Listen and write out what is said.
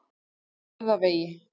Höfðavegi